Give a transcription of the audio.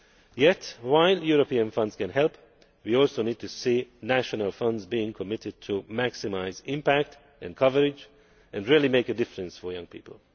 Yet, while European funds can help, we also need to see national funds being committed to maximise impact and coverage, and really make a difference for young people.